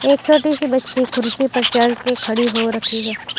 एक छोटी सी बच्ची कुर्सी पर चढ़के खड़ी हो रखी है।